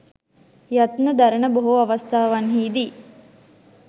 යත්න දරන බොහෝ අවස්ථාවන්හිදී